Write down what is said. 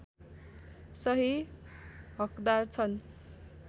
सही हकदार छन्